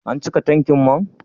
An cika tankin man?